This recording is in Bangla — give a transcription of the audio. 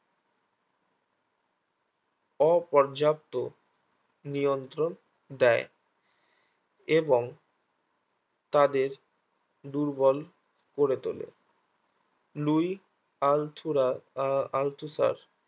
অপর্যাপ্ত নিয়ন্ত্রণ দেয় এবং তাদের দুর্বল করে তোলে লুই আলথুরা আলথুসার